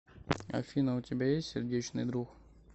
афина у тебя есть сердечный друг